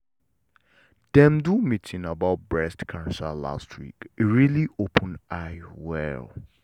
dem do meeting about breast cancer last week e really open eye well.